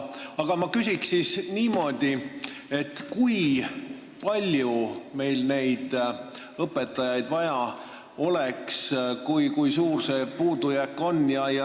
Aga ma küsin niimoodi, et kui palju meil neid õpetajaid vaja oleks, kui suur see puudujääk on.